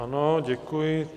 Ano, děkuji.